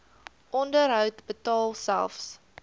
onderhoud betaal selfs